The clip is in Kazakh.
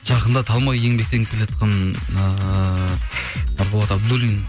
жақында талмай еңбектеніп келе жатқан ыыы нұрболат абдуллин